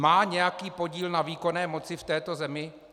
Má nějaký podíl na výkonné moci v této zemi?